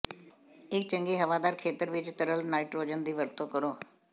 ਇੱਕ ਚੰਗੀ ਹਵਾਦਾਰ ਖੇਤਰ ਵਿੱਚ ਤਰਲ ਨਾਈਟ੍ਰੋਜਨ ਦੀ ਵਰਤੋਂ ਕਰੋ